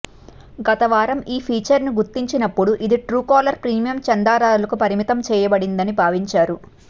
గత వారం ఈ ఫీచర్ ని గుర్తించినప్పుడు ఇది ట్రూకాలర్ ప్రీమియం చందాదారులకు పరిమితం చేయబడిందని భావించారు